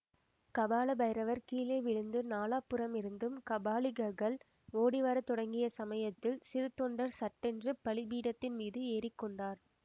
கபால பைரவர் கீழே விழுந்து நாலாபுறமிருந்தும் கபாலிகர்கள் ஓடிவரத் தொடங்கிய சமயத்தில் சிறுத்தொண்டர் சட்டென்று பலிபீடத்தின் மீது ஏறி கொண்டார்